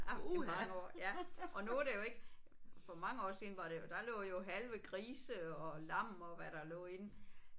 Der er til mange år ja. Og nu er det jo ikke. For mange år siden var det jo der lå jo halve grise og lam og hvad der lå i den